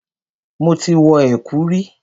Mo ti wọ ẹ̀kú rí.